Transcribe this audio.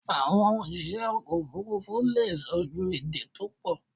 Àwon òsìsẹ́ ọkọ̀ òfurufú leè so èdè to pọ̀